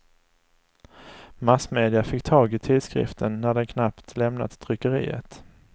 Massmedia fick tag i tidskriften när den knappt lämnat tryckeriet.